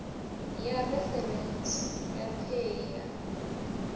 ya referentsi ya paye ya